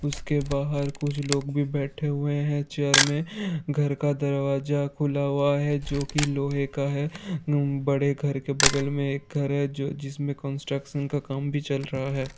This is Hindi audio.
उसके बहार कुछ लोग भी बैठे हुए हैं चेयर में घर का दरवाजा खुला हुआ है जोकी लोहे का है| उम बड़े घर के बगल में एक घर है जो जिसमें कंस्ट्रक्शन काम भी चल रहा है।